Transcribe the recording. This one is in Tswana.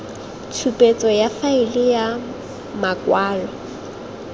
tshupetso ya faele ya makwalo